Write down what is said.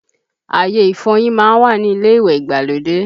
Àyè ìfọyín má ń wà ní ilé ìwẹ̀ ìgbàlódé